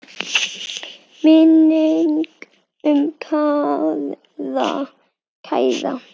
Minning um kæra frænku lifir.